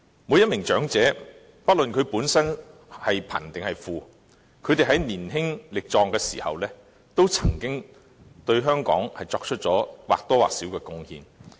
每名長者不論其本身是貧是富，在年輕力壯時，皆曾經對香港作出或多或少的貢獻。